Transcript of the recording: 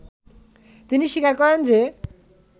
তিনি স্বীকার করেন যে